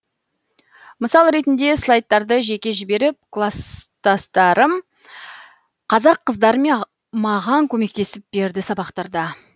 мысал ретіне слайдтарды жеке жіберіп класстастарым қазақ қыздар маған көмектесіп берді сабақтарда